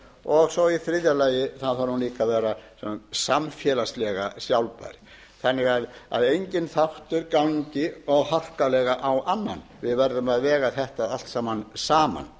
og í þriðja lagi þarf hún líka að vera samfélagslega sjálfbær þannig að enginn þáttur gangi of harkalega á annan við verðum að vega þetta allt saman saman